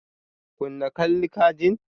Kunna Kalli ka jin!